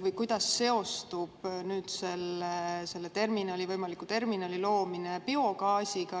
või kuidas seostub selle võimaliku terminali rajamine biogaasiga?